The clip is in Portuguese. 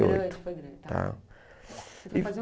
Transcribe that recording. e oito. Foi grande, foi grande. Ah. Mas e o